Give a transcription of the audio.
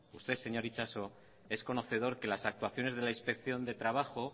usted señor itxaso es conocedor que las actuaciones de la inspección del trabajo